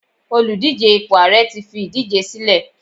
Oludije ipo ààrẹ ti fi idije sílẹ